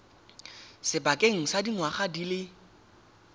sebakeng sa dingwaga di le